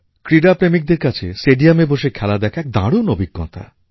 ক্রীড়াপ্রেমিকদের কাছে স্টেডিয়ামে বসে খেলা দেখা একটা দারুণ অভিজ্ঞতা দেয়